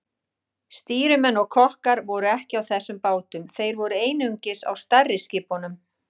Stýrimenn og kokkar voru ekki á þessum bátum, þeir voru einungis á stærri skipunum.